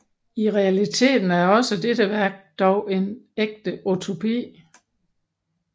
I realiteten er også dette værk dog en ægte utopi